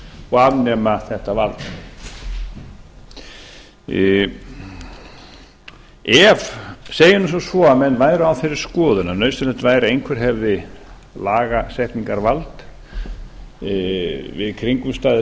og afnema þetta vald segjum nú sem svo að menn væru á þeirri skoðun að nauðsynlegt væri að einhver hefði lagasetningarvald við kringumstæður